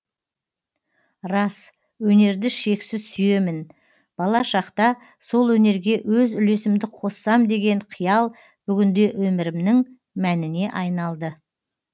рас өнерді шексіз сүйемін бала шақта сол өнерге өз үлесімді қоссам деген қиял бүгінде өмірімнің мәніне айналды